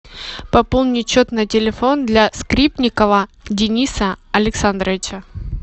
пополнить счет на телефон для скрипникова дениса александровича